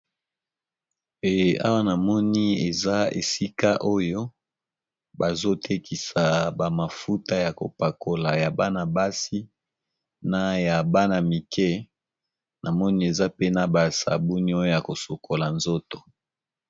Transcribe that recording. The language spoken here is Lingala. Awa na moni eza esika oyo bazotekisa ba mafuta ya kopakola ya bana-basi, na ya bana mike na moni eza pena basabuni oyo ya kosokola nzoto.